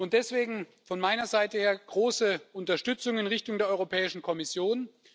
Deswegen von meiner Seite her große Unterstützung in Richtung der Europäischen Kommission.